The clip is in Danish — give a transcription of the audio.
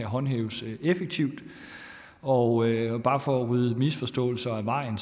håndhæves effektivt og bare for at rydde en misforståelse af vejen